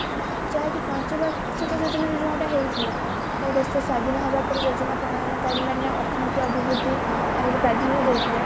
ଯାହାକି ପଞ୍ଚ ବାର୍ଷିକ ଯୋଜନାରେ ଯୋଉଟା ହେଇଥିଲା ଦେଶ ସ୍ଵାଧୀନ ହେବା ପରେ ଯୋଜନା ପ୍ରଣୟନ କାରୀ ମାନେ ଅର୍ଥନୀତି ଅଭିବୃଦ୍ଧି ହରକୁ ପ୍ରାଧାନ୍ୟ ଦେଇଥିଲେ